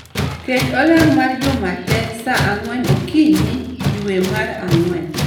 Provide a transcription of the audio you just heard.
Ket olang mar juma te sa ang'wen okinyi dwe mar ang'wen